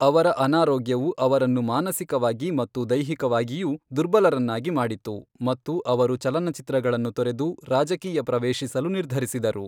ಅವರ ಅನಾರೋಗ್ಯವು ಅವರನ್ನು ಮಾನಸಿಕವಾಗಿ ಮತ್ತು ದೈಹಿಕವಾಗಿಯೂ ದುರ್ಬಲರನ್ನಾಗಿ ಮಾಡಿತು ಮತ್ತು ಅವರು ಚಲನಚಿತ್ರಗಳನ್ನು ತೊರೆದು ರಾಜಕೀಯ ಪ್ರವೇಶಿಸಲು ನಿರ್ಧರಿಸಿದರು.